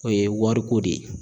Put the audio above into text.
O ye wori ko de ye.